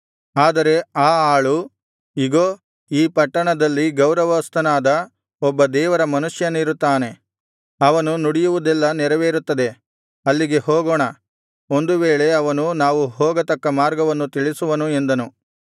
ಆದರೆ ಆ ಆಳು ಇಗೋ ಈ ಪಟ್ಟಣದಲ್ಲಿ ಗೌರವಸ್ಥನಾದ ಒಬ್ಬ ದೇವರ ಮನುಷ್ಯನಿರುತ್ತಾನೆ ಅವನು ನುಡಿಯುವುದೆಲ್ಲಾ ನೆರವೇರುತ್ತದೆ ಅಲ್ಲಿಗೆ ಹೋಗೋಣ ಒಂದು ವೇಳೆ ಅವನು ನಾವು ಹೋಗತಕ್ಕ ಮಾರ್ಗವನ್ನು ತಿಳಿಸುವನು ಎಂದನು